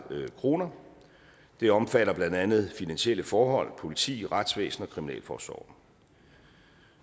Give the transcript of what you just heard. kroner det omfatter blandt andet finansielle forhold politi retsvæsen og kriminalforsorg